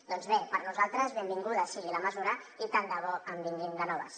doncs bé per nosaltres benvinguda sigui la mesura i tant de bo en vinguin de noves